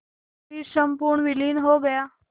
फिर संपूर्ण विलीन हो गया